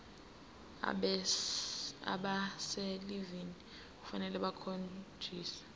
abaselivini kufanele bakhonjiswe